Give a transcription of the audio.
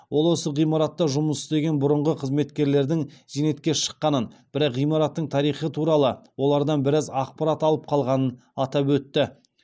ол осы ғимаратта жұмыс істеген бұрынғы қызметкерлердің зейнетке шыққанын бірақ ғимараттың тарихы туралы олардан біраз ақпарат алып қалғанын атап өтті